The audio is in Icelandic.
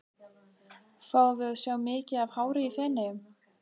Fáum við að sjá mikið af hári í Feneyjum?